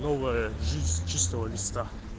новая жизнь с чистого листа